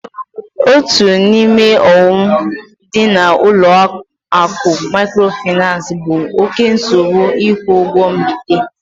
Otu n'ime ọghọm dị na ụlọ akụ mikrofinansi bụ oké nsogbu ikwu ụgwọ mbite